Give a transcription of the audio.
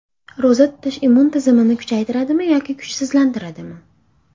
Ro‘za tutish immun tizimini kuchaytiradimi yoki kuchsizlantiradimi?